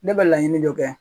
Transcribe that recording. Ne bɛ laɲini dɔ kɛ.